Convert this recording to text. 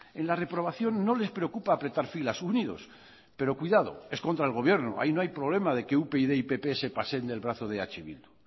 en la reprobación no les preocupa apretar filas unidos pero cuidado es contra el gobierno ahí no hay problema de que upyd y pp se paseen del brazo de eh bildu